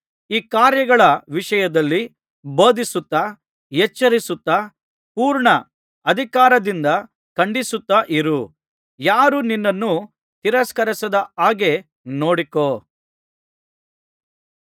ಈ ಕಾರ್ಯಗಳ ವಿಷಯದಲ್ಲಿ ಬೋಧಿಸುತ್ತಾ ಎಚ್ಚರಿಸುತ್ತಾ ಪೂರ್ಣ ಅಧಿಕಾರದಿಂದ ಖಂಡಿಸುತ್ತಾ ಇರು ಯಾರೂ ನಿನ್ನನ್ನು ತಿರಸ್ಕರಿಸದ ಹಾಗೆ ನೋಡಿಕೋ